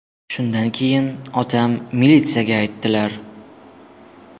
Shundan keyin otam militsiyaga aytdilar.